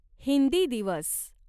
हिंदी दिवस